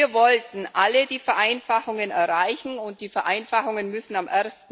Wir wollten alle Vereinfachungen erreichen, und die Vereinfachungen müssen am